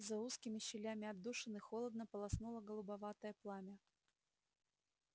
за узкими щелями отдушины холодно полоснуло голубоватое пламя